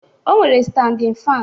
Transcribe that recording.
O nwere standin fan.